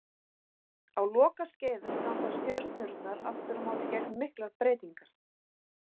Á lokaskeiðum ganga stjörnurnar aftur á móti gegnum miklar breytingar.